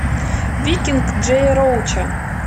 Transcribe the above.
викинг джея роуча